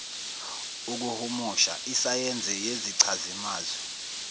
ukuhumusha isayenze yezichazimazwi